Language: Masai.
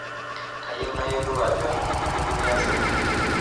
Kayieu nayiolou ajo nyoo duo iyasita.